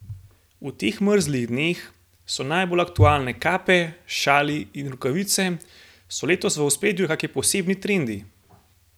V teh mrzlih dneh so najbolj aktualne kape, šali in rokavice, so letos v ospredju kaki posebni trendi?